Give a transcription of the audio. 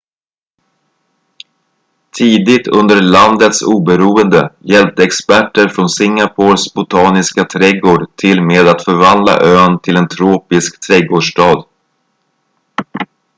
tidigt under landets oberoende hjälpte experter från singapores botaniska trädgård till med att förvandla ön till en tropisk trädgårdsstad